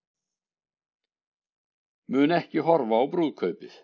Mun ekki horfa á brúðkaupið